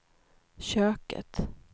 köket